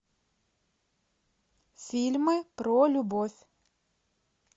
фильмы про любовь